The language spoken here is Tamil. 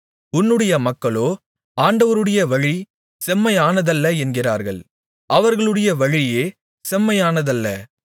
உன்னுடைய மக்களோ ஆண்டவருடைய வழி செம்மையானதல்ல என்கிறார்கள் அவர்களுடைய வழியே செம்மையானதல்ல